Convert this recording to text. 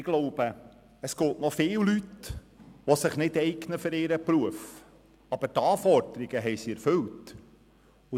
Ich glaube, es gibt relativ viele Leute, die sich nicht für ihren Beruf eignen, aber die Anforderungen erfüllt haben.